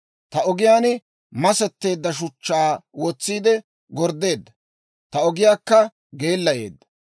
Ta ogiyaan masetteedda shuchchaa wotsiide gorddeedda; ta ogiyaakka geellayeedda.